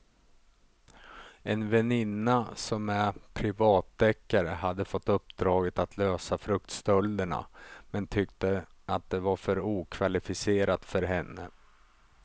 En väninna som är privatdeckare hade fått uppdraget att lösa fruktstölderna men tyckte att det var för okvalificerat för henne.